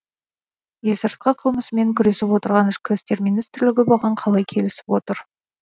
есірткі қылмысымен күресіп отырған ішкі істер министрлігі бұған қалай келісіп отыр